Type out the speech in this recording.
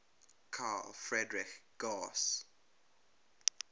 carl friedrich gauss